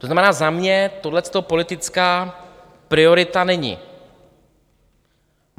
To znamená, za mě tohleto politická priorita není.